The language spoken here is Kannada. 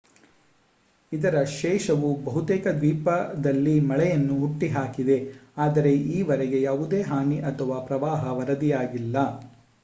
ಇದರ ಶೇಷವು ಬಹುತೇಕ ದ್ವೀಪದಲ್ಲಿ ಮಳೆಯನ್ನು ಹುಟ್ಟುಹಾಕಿದೆ ಆದರೆ ಈವರೆಗೆ ಯಾವುದೇ ಹಾನಿ ಅಥವಾ ಪ್ರವಾಹ ವರದಿಯಾಗಿಲ್ಲ